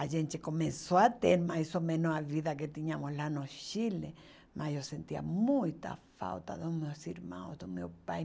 A gente começou a ter mais ou menos a vida que tínhamos lá no Chile, mas eu sentia muita falta dos meus irmãos, do meu pai.